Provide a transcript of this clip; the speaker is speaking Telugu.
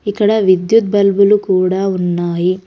ఇక్కడ విద్యుత్ బల్బులు కూడా ఉన్నాయి.